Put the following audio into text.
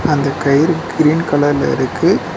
அந்த கயிறு கிரீன் கலர்ல இருக்கு.